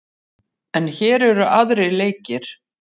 En hér eru aðrir leikir.